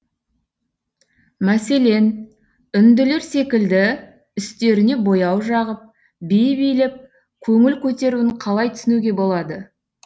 мәселен үнділер секілді үстеріне бояу жағып би билеп көңіл көтеруін қалай түсінуге болады